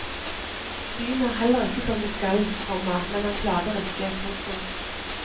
Synet er heller ikke som det skal, komma men han klager ikke. punktum